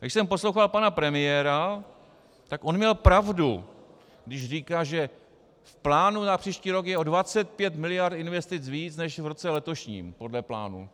Když jsem poslouchal pana premiéra, tak on měl pravdu, když říká, že v plánu na příští rok je o 25 miliard investic víc než v roce letošním podle plánu.